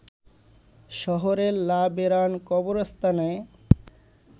শহরের লা ভেরান কবরস্থানে